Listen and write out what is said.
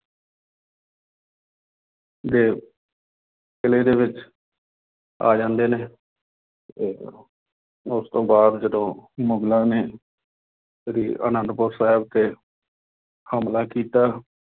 ਦੇ ਕਿਲੇ ਦੇ ਵਿੱਚ ਆ ਜਾਂਦੇ ਨੇ ਤੇ ਉਹ ਉਸ ਤੋਂ ਬਾਅਦ ਜਦੋਂ ਮੁਗਲਾਂ ਨੇ ਸ੍ਰੀ ਆਨੰਦਪੁਰ ਸਾਹਿਬ ਤੇ ਹਮਲਾ ਕੀਤਾ